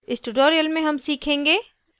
इस tutorial में हम सीखेंगे